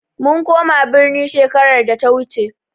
Mun koma birni shekarar da ta wuce.